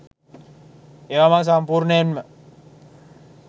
ඒවා මං සම්පූර්ණයෙන්ම